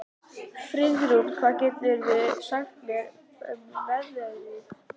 Friðrún, hvað geturðu sagt mér um veðrið?